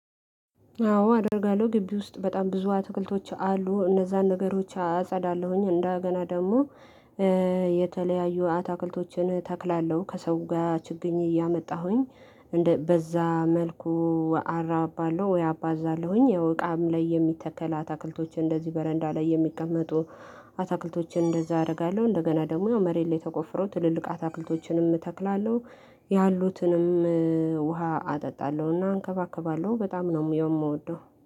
አዎ አደርጋለሁ ግቢ ውስጥ በጣም ብዙ አትክልቶች አሉ እነዛን ነገሮች አጸዳለሁኝ እንደገና ደግሞ የተለያዩ አትክልቶችን እተክላለሁ ከሰው ጋር ችግኝ እያመጣሁኝ በዛ መልኩ አራባለው ወይ አባዛለሁኝ። ያው እቃም ላይ የሚተከል አታክልቶችን እንደዚህ በረንዳ ላይ የሚቀመጡ አታክልቶችን እንደዛ አደርጋለሁ። እንደገና ደግሞ መሬት ላይ ተቆፍሮ ትልልቅ አትክልቶችንም እተክላለሁ ያሉትንም ውሃ አጠጣለሁና እንከባከባለሁ በጣም ነው የምወደው